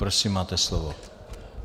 Prosím, máte slovo.